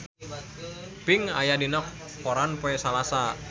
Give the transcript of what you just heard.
Pink aya dina koran poe Salasa